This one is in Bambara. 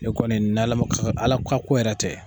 Ne kɔni n'ALA ma ALA ka yɛrɛ tɛ.